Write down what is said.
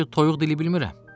Mən ki toyuq dili bilmirəm.